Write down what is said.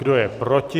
Kdo je proti?